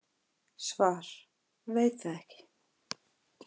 Svar: Veit það ekki.